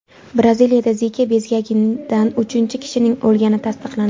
Braziliyada Zika bezgagidan uchinchi kishining o‘lgani tasdiqlandi.